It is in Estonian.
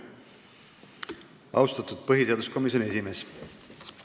Austatud põhiseaduskomisjoni esimees!